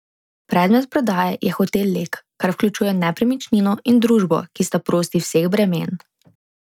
Predmet prodaje je Hotel Lek, kar vključuje nepremičnino in družbo, ki sta prosti vseh bremen.